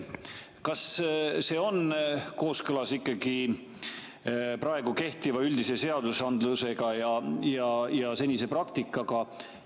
Kas see on kooskõlas praegu kehtiva üldise seadusandlusega ja senise praktikaga?